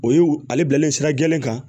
O ye ale bilalen sira gɛlɛn kan